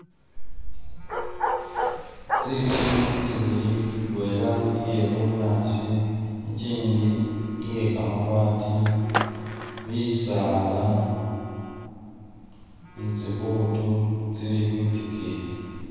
Ntsintsu tsibili indwela ye'bunyasi ikyindi iyekamabaati, bisala ni tsiibutu tsili khwitikiyi